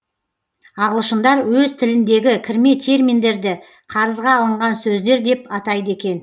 ағылшындар өз тіліндегі кірме терминдерді қарызға алынған сөздер деп атайды екен